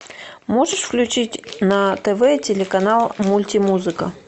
можешь включить на тв телеканал мульти музыка